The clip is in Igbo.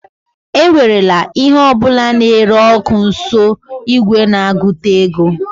ewerela ihe ọ bụla na-ere ọkụ nso igwe na-agụta ego